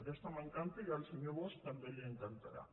aquesta m’encanta i al senyor bosch també li encantarà